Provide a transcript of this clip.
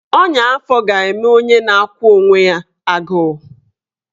Ọnya afọ ga-eme onye na-akwụ onwe ya agụụ